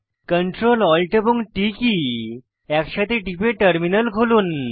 Ctrl Alt এবং T কী একসাথে টিপে টার্মিনাল খুলুন